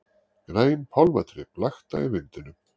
Græn pálmatrén blakta í vindinum.